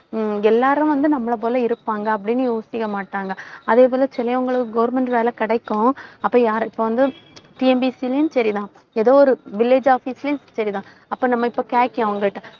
எல்லாரும் வந்து, நம்மளை போல இருப்பாங்க, அப்படின்னு யோசிக்க மாட்டாங்க. அதே போல, சிலவங்களுக்கு government வேலை கிடைக்கும். அப்ப யார~ இப்ப வந்து TNPSC லயும் சரிதான். ஏதோ ஒரு village office லயும் சரிதான் அப்ப நம்ம இப்ப கேக்கேன் அவங்கள்ட்ட.